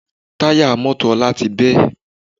Táyà mọ́tò Ọlá ti bẹ́